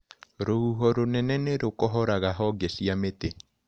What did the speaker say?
Rũhuho rũnene nĩrũkohoraga honge cia mĩtĩ.